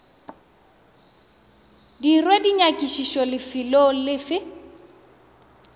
dirwe dinyakišišo lefelong le fe